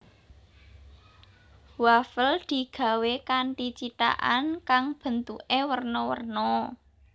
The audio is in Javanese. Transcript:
Wafel digawé kanthi cithakan kang bentuké werna werna